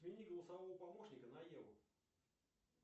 смени голосового помощника на еву